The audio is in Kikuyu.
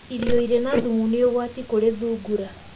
Irio irĩ na thumu nĩ ũgwati kũri thungura.